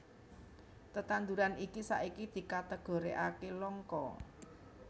Tetanduran iki saiki dikategorikaké langka